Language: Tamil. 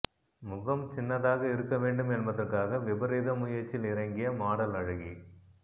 முகம் சின்னதாக இருக்க வேண்டும் என்பதற்காக விபரீத முயற்சியில் இறங்கிய மொடல் அழகி